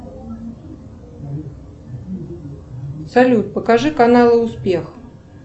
салют покажи канал успех